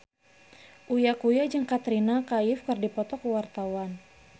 Uya Kuya jeung Katrina Kaif keur dipoto ku wartawan